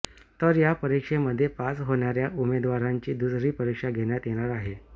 तर या परिक्षेमध्ये पास होणाऱ्या उमेदवारांची दुसरी परिक्षा घेण्यात येणार आहे